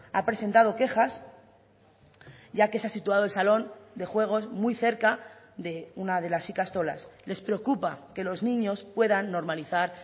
ha presentado quejas ya que se ha situado el salón de juegos muy cerca de una de las ikastolas les preocupa que los niños puedan normalizar